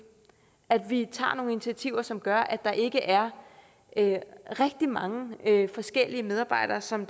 at vi tager nogle initiativer som gør at der ikke er rigtig mange forskellige medarbejdere som